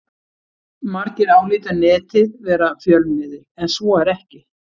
Margir álíta Netið vera fjölmiðil en svo er ekki.